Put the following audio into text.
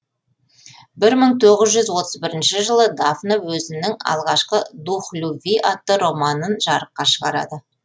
бір мың тоғыз жүз отыз бірінші жылы дафна өзінің алғашқы дух любви атты романын жарыққа шығарады